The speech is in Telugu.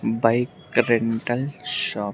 Bike rental shop .